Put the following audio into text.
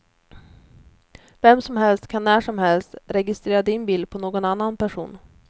Vem som helst kan när som helst registrera din bil på någon annan person.